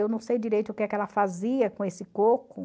Eu não sei direito o que é que ela fazia com esse coco.